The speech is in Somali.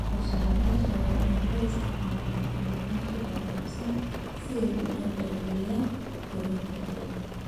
Soosaarayaasha waaweyni waxay isticmaalaan bacrimiyeyaasha horumarsan si ay u dardargeliyaan koritaanka dalagga.